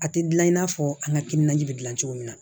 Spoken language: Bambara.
A tɛ gilan i n'a fɔ an ka timinanja bɛ gilan cogo min na